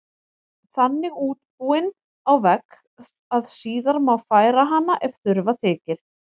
Þannig útbúin á vegg að síðar má færa hana ef þurfa þykir.